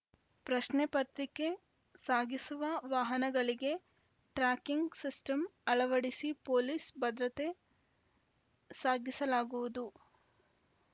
ಪ್ರಶ್ನೆ ಪತ್ರಿಕೆ ಸಾಗಿಸುವ ವಾಹನಗಳಿಗೆ ಟ್ರ್ಯಾಕಿಂಗ್‌ ಸಿಸ್ಟಮ್‌ ಅಳವಡಿಸಿ ಪೊಲೀಸ್‌ ಭದ್ರತೆ ಸಾಗಿಸಲಾಗುವುದು